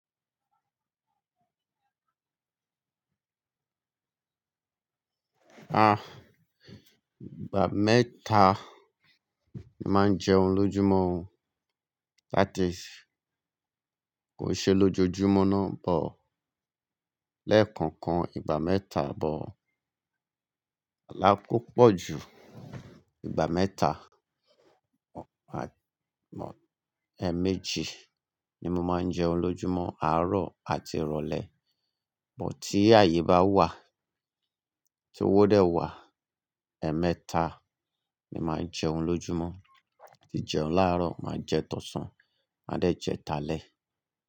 Ah, ìgbà mẹ́ta ni màá ń jẹun lójúmọ́, láti kò ṣe lójojúmọ́ náà, but lẹ́ẹ̀kọ̀kan ìgbà mẹ́ta, but kòda ko pọ̀ ju ìgbà mẹ́ta, àmọ́ ẹ́ méjì ni mo máa ń jẹun lójúmọ́ àárọ̀ àti ìrọ̀lẹ́. But tí ààyè bá wà, tí owó dẹ̀ wà, ẹ̀ẹ́ mẹ́ta ni màá ń jẹun lójúmọ́, tí jẹun láàárọ̀, màá jẹ tọ̀sán, má dẹ̀ jẹ tàlẹ̀